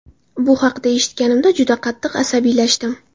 Bu haqda eshitganimda juda qattiq asabiylashdim.